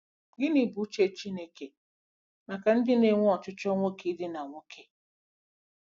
Gịnị Bụ Uche Chineke maka ndị na-enwe ochịchọ nwoke idina nwoke?